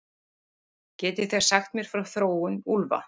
Getið þið sagt mér frá þróun úlfa?